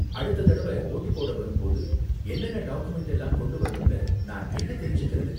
அடுத்த தடவ வோட்டு போட வரும்போது என்னென்ன டாக்குமென்ட் எல்லாம் கொண்டு வரணும்னு நான் எங்க தெரிஞ்சுக்கறது?